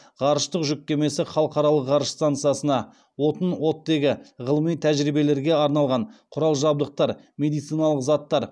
ғарыштық жүк кемесі халықаралық ғарыш стансасына отын оттегі ғылыми тәжірибелерге арналған құрал жабдықтар медициналық заттар